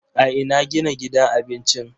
A ina gina gidan abincin?